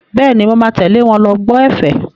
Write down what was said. Bẹ́ẹ̀ni, mo máa tẹ̀lé wọn lọ gbọ́ ẹ̀fẹ̀.